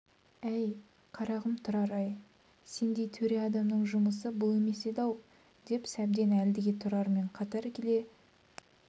әй қарағым тұрар-ай сендей төре адамның жұмысы бұл емес еді-ау деп сәбден әлгіде тұрармен қатар келе